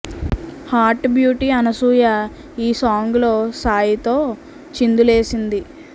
hot beauty Anasuya ఈ song లో సాయి తో చిందులేసింది